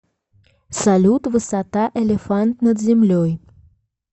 салют высота элефант над землей